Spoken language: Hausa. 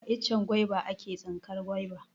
A icen gwaiba a ke tsinkar gwaiba.